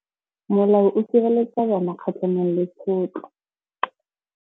Molao o sireletsa bana kgatlhanong le tshotlo.